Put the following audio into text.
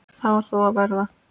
Það varð þó að verða.